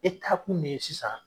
E ta kun ne ye sisan.